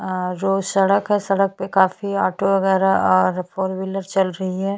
और सामने जस्ट बिसलेरी का बॉटल काफी रखा हुआ है भर भर के --